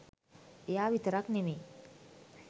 එයා විතරක් නෙමෙයි